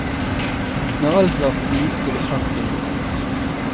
Når alt var forbi, skulle parken bort.